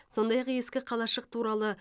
сондай ақ ескі қалашық туралы